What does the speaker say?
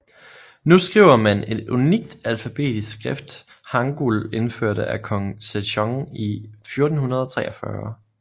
Nu skriver man et unikt alfabetisk skrift hangul indført af Kong Sejong i 1443